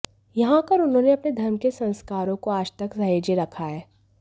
यहां आकर उन्होंने अपने धर्म के संस्कारों को आज तक सहेजे रखा है